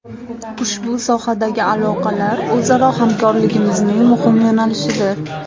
Ushbu sohadagi aloqalar o‘zaro hamkorligimizning muhim yo‘nalishidir”.